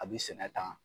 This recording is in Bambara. A bi sɛnɛ tan